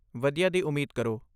ਵਧੀਆ ਦੀ ਉਮੀਦ ਕਰੋ।